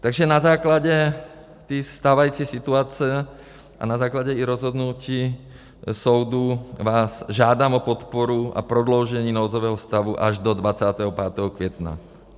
Takže na základě té stávající situace a na základě i rozhodnutí soudu vás žádám o podporu a prodloužení nouzového stavu až do 25. května.